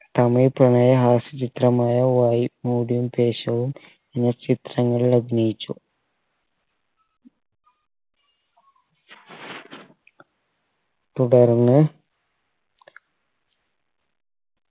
തമിഴ് പ്രണയ ഹാസ്യ ചിത്രമായ വയ് മൂടിയും ദേശവും എന്നീ ചിത്രങ്ങളിൽ അഭിനയിച്ചു തുടർന്ന്